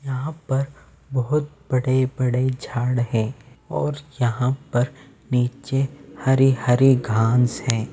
यहाँ पर बहुत बड़े-बड़े झाड़ हैं और यहाँ पर नीचे हरे-हरे घास हैं।